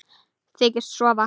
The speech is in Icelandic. Þykist sofa.